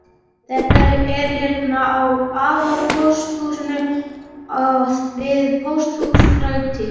Þetta er hérna á aðalpósthúsinu við Pósthússtræti.